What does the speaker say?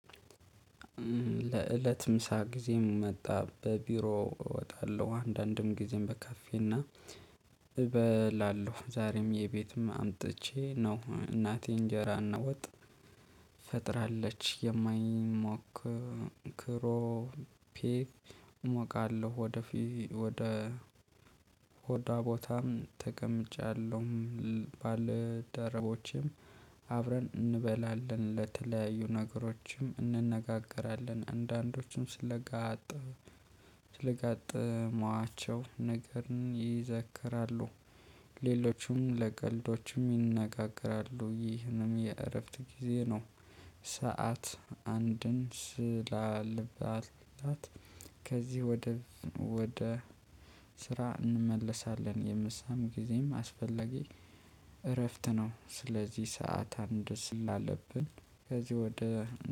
ለእለት ምሳ ጊዜም መጣ በቢሮ እወጣለሁ አንዳንድም ጊዜም በካፌና እበላለሁ ዛሬም የቤትም አምጥቼ ነው እናቴ እንጀራ እና ወጥ ፈጥራለች የማይሞክር ክሮፔ እሞቃለሁ። ወደፊት ወደ ሆዷ ቦታም ተቀምጫለሁም ባልደረቦቼም አብረን እንበላለን። ለተለያዩ ነገሮችም እንነጋገራለን። አንዳንዶቹም ስለጋጠመው ስለጋጠመዋቸው ነገር ይዘክራሉ። ሌሎችም ለቀልዶችም ይነጋገራሉ። ይህንም የእረፍት ጊዜ ነው። ሰዓት አንድን ስላልባላት ከዚህ ወደ ወደ ስራ እንመለሳለን። የምሳም ጊዜም አስፈላግ እረፍት ነው። ስለዚህ ሰዓት አንድ ስል አለብን። ከዚህ ወደ